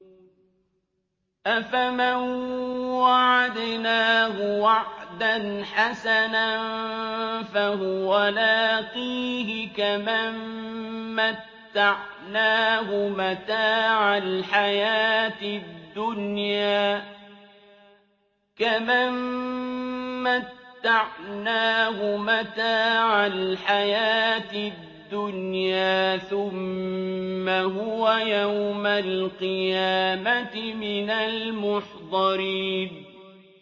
أَفَمَن وَعَدْنَاهُ وَعْدًا حَسَنًا فَهُوَ لَاقِيهِ كَمَن مَّتَّعْنَاهُ مَتَاعَ الْحَيَاةِ الدُّنْيَا ثُمَّ هُوَ يَوْمَ الْقِيَامَةِ مِنَ الْمُحْضَرِينَ